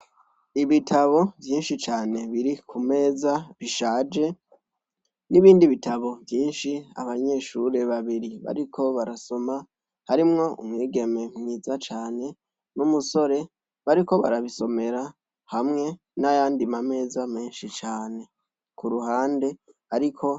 Ibitabo vyinshi cane biri kumeza bishaje n' ibindi bitabo vyinshi abanyeshure babiri bariko barasoma harimwo umwigeme mwiza cane n' umusore bariko barabisomera hamwe n' ayandi mameza menshi cane kuruhande ariko.